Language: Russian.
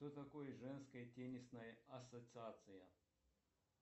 что такое женская теннисная ассоциация